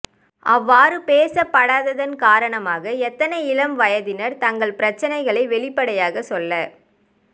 அவ்வாறு பேசப்படாததன் காரணமாக எத்தனை இளம் வயதினர் தங்கள் பிரச்சனைகளை வெளிப்டையாகச் சொல்ல